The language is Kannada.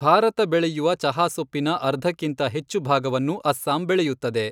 ಭಾರತ ಬೆಳೆಯುವ ಚಹಾ ಸೊಪ್ಪಿನ ಅರ್ಧಕ್ಕಿಂತ ಹೆಚ್ಚು ಭಾಗವನ್ನು ಅಸ್ಸಾಂ ಬೆಳೆಯುತ್ತದೆ.